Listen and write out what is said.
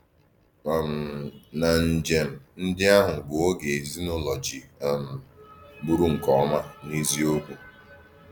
um Ma njem ndị ahụ bụ oge ezi na ụlọ ji um bụrụ nke ọma n’eziokwu.